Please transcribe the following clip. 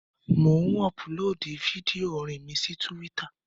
Mò ń ọpulóòdù fídíò orin mi sí túwítà